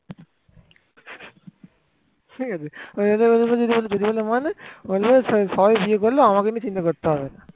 ঠিক আছে যদি তোমাকে কিছু বলে যে মানে সবাই বিয়ে করলেও আমাকে নিয়ে চিন্তা করতে হবে না।